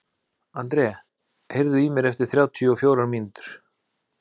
André, heyrðu í mér eftir þrjátíu og fjórar mínútur.